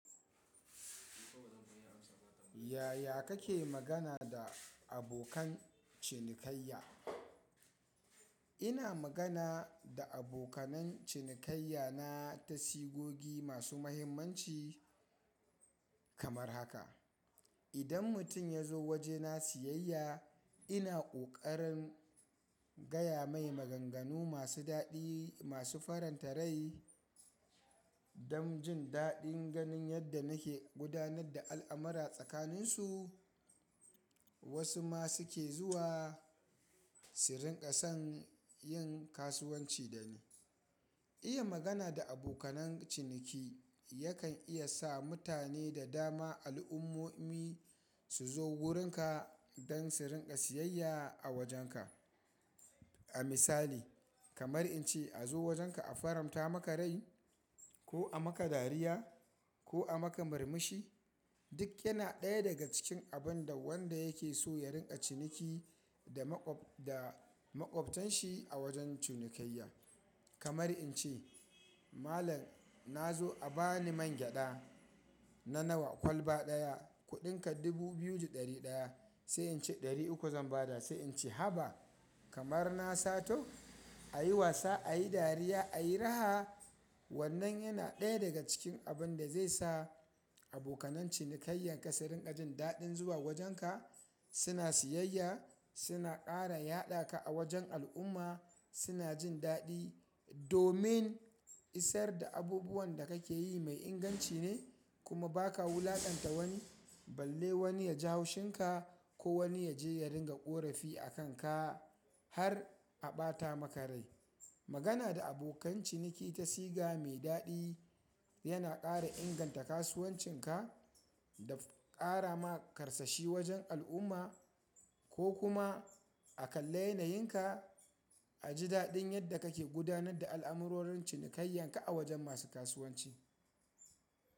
Yaya kake magana da abokan cinikayya? Ina magana da abokanan cinikayya na tasigogi masu mahimmanci kamar haka. Idan mutum ya zo waje na siyayya ina ƙoƙarin gaya mai maganganu masu daɗi masu faranta rai dam jin daɗin ganin yadda nake gudanar da al'amurra tsakanin su. Wasu ma suke zuwa su rinƙa son yin kasuwanci dani. Iya magana da abokanan ciniki yakan iya sa mutane da dama al'umomi su zo wurin ka dan su rinƙa siyayya a wajen ka. A misali kamar in ce “azo wajen ka a faranta maka rai” ko “a maka dariya” ko “a maka murmushi” duk yana ɗaya daga cikin abun da wanda yake so ya rinƙa ciniki da maƙwaftan shi a wajen cinikayya. Kamar in ce “Malam na zo a bani mangyaɗa na nawa kwalba ɗaya kuɗin ka dubu biyu da ɗari ɗaya” sai in ce “ɗari uku zan ba da” sai in ce “haba” kamar na sato ayi wasa ayi dariya ayi raha wannan yana ɗaya daga cikin abun da zai sa abokanan cinikayyan ka su rinƙa jin daɗin zuwa wajen ka. Suna siyayya suna ƙara yadaka a wajen al'umma suna jin daɗi domin isar da abubuwan da ka ke yi mai inganci ne kuma ba ka wulaƙanta wani balle wani ya ji haushin ka ko wani ya je ya ringa ƙorafi a kan ka har a ɓata maka rai. Magana da abokan ciniki ta siga mai daɗi yana ƙara inganta kasuwancin ka da ƙara ma karsashi wajen al'umma ko kuma a kalli yana yin ka a ji daɗin yadda kake gudanar da al'amurorin cinikayyan ka a wajen masu kasuwanci.